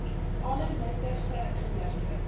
alle nuttige inligting